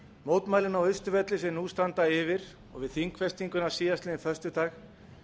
mótmælin á austurvelli sem nú standa yfir og við þingfestinguna síðastliðinn föstudag